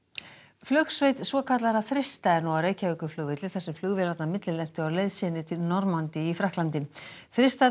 flugsveit svokallaðra þrista er nú á Reykjavíkurflugvelli þar sem flugvélarnar á leið sinni til Normandí í Frakklandi